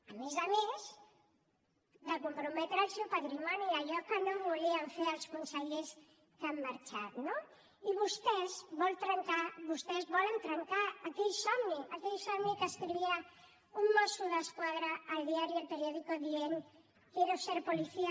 a més a més de comprometre el seu patrimoni allò que no volien fer els consellers que han marxat no i vostès volen trencar aquell somni aquell somni que escrivia un mosso d’esquadra al diari el periódico dient quiero ser policía